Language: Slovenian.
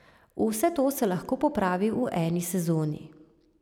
Vse to se lahko popravi v eni sezoni.